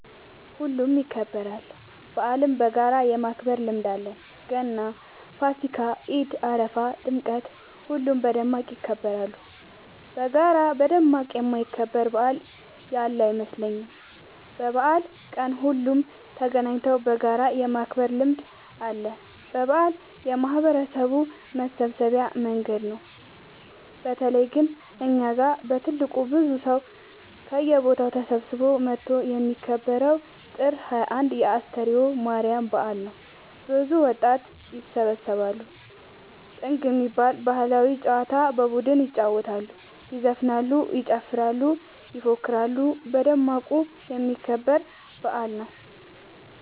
ሁሉም ይከበራል። በአልን በጋራ የማክበር ልምድ አለን ገና ፋሲካ ኢድ አረፋ ጥምቀት ሁሉም በደማቅ ይከበራሉ። በጋራ በደማቅ የማይከበር በአል ያለ አይመስለኝም። በበአል ቀን ሁሉም ተገናኘተው በጋራ የማክበር ልምድ አለ። በአል የማህበረሰቡ መሰብሰቢያ መንገድ ነው። በተለይ ግን እኛ ጋ በትልቁ ብዙ ሰው ከየቦታው ተሰብስበው መተው የሚከበረው ጥር 21 የ አስተርዮ ማርያም በአል ነው። ብዙ ወጣት ይሰባሰባሉ። ጥንግ የሚባል ባህላዊ ጨዋታ በቡድን ይጫወታሉ ይዘፍናሉ ይጨፍራሉ ይፎክራሉ በደማቁ የሚከበር በአል ነው።